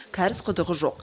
кәріз құдығы жоқ